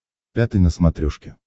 пятый на смотрешке